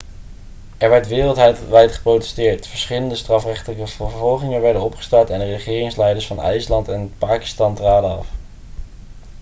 er werd wereldwijd geprotesteerd verschillende strafrechtelijke vervolgingen werden opgestart en de regeringsleiders van ijsland en pakistan traden af